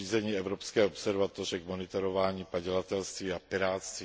zřízení Evropské observatoře k monitorování padělatelství a pirátství.